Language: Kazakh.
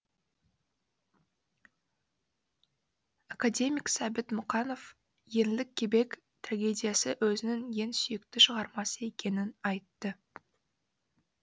академик сәбит мұқанов еңлік кебек трагедиясы өзінің ең сүйікті шығармасы екенін айтты